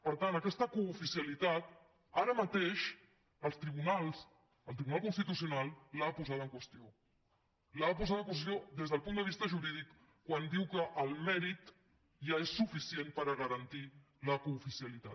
per tant aquesta cooficialitat ara mateix els tribunals el tribunal constitucional l’ha posada en qüestió l’ha posada en qüestió des del punt de vista jurídic quan diu que el mèrit ja és suficient per a garantir la cooficialitat